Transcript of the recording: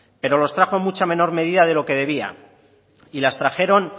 pero los trajo en mucha menor medida de lo que debía y las trajeron